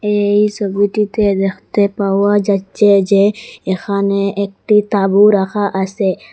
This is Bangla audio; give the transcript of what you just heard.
এই সবিটিতে দেখতে পাওয়া যাচ্ছে যে এখানে একটি তাঁবু রাখা আসে ।